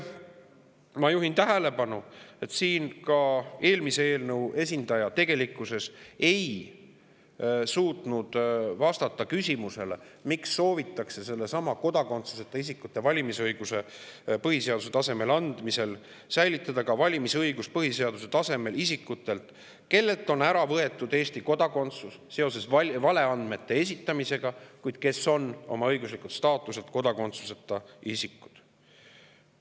Ma juhin tähelepanu, et ka eelmise eelnõu esindaja tegelikkuses ei suutnud vastata küsimusele, miks soovitakse kodakondsuseta isikutele põhiseaduse tasemel valimisõiguse andmisel säilitada põhiseaduse tasemel valimisõigus ka isikutele, kellelt on Eesti kodakondsus ära võetud seoses valeandmete esitamisega, kuid kes on õiguslikult staatuselt kodakondsuseta isikud.